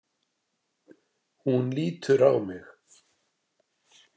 Hún lítur á mig.